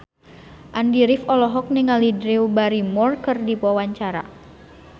Andy rif olohok ningali Drew Barrymore keur diwawancara